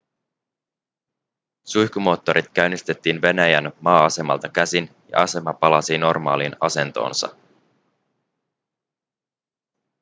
suihkumoottorit käynnistettiin venäjän maa-asemalta käsin ja asema palasi normaaliin asentoonsa